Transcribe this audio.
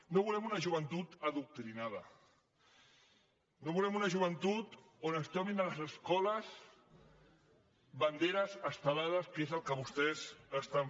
no volem una joventut adoctrinada no volem una joventut que es trobi a les escoles banderes estelades que és el que vostès fan